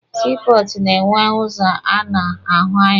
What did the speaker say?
Sii pọọtụ na-enwe ụzọ a na-ahụ anya.